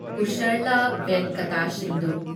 Pusarla Venkata Sindhu